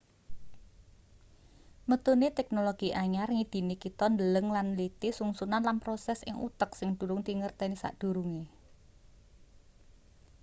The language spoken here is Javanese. metune teknologi anyar ngidini kita ndeleng lan nliti sungsunan lan proses ing utek sing durung dingerteni sadurunge